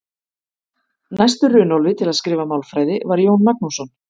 Næstur Runólfi til að skrifa málfræði var Jón Magnússon.